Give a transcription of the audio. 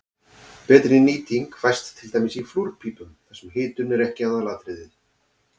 Betri nýting fæst til dæmis í flúrpípum þar sem hitun er ekki aðalatriðið.